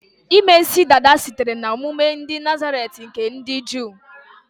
Ime isi dada sitere na omume ndị Nazaret nke ndị Juu